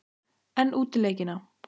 En útileikina?